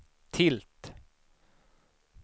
tilt